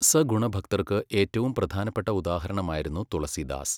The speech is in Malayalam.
സഗുണഭക്തർക്ക് ഏറ്റവും പ്രധാനപ്പെട്ട ഉദാഹരണമായിരുന്നു തുളസീദാസ്.